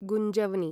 गुंजव्नि